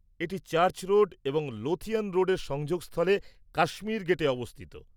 এটি church road এবং Lothian রোডের সংযোগস্থলে কাশ্মীর গেটে অবস্থিত।